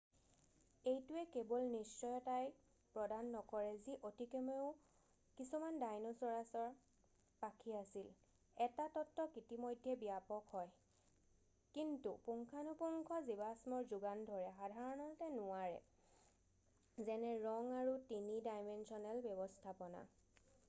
এইটোৱে কেৱল নিশ্চয়তাই প্ৰদান নকৰে যি অতিকমেও কিছুমান ডাইনাছোৰৰ পাখি আছিল এটা তত্ত্বক ইতিমধ্যেই ব্যাপক হয় কিন্তু পুংখানুপুংখ জীৱাশ্মৰ যোগান ধৰে সাধাৰণতে নোৱাৰে যেনে ৰং আৰু 3-ডাইমেন্সনেল ব্যৱস্থাপনা৷